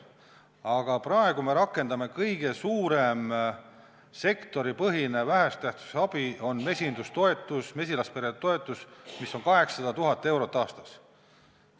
Aga praegu on kõige suurem sektoripõhine vähese tähtsusega abi mesilaspere toetus, mis on 800 000 eurot aastas.